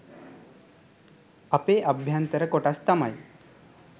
අපේ අභ්‍යයන්තර කොටස් තමයි.